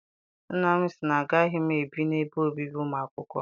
Nna m sị na agaghị m ebi n'ebe obibi ụmụ akwụkwọ.